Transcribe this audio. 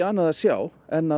annað að sjá en